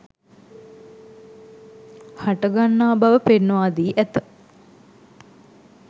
හටගන්නා බව පෙන්වා දී ඇත